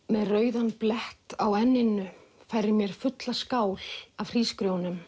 með rauðan blett á enninu færir mér fulla skál af hrísgrjónum